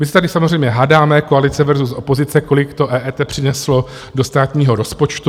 My se tady samozřejmě hádáme, koalice versus opozice, kolik to EET přineslo do státního rozpočtu.